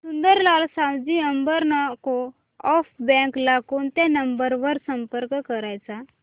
Sundarlal Savji urban co-op bank ला कोणत्या number वर संपर्क करायचा